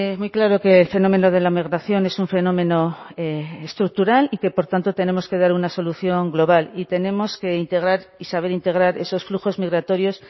muy claro que el fenómeno de la migración es un fenómeno estructural y que por tanto tenemos que dar una solución global y tenemos que integrar y saber integrar esos flujos migratorios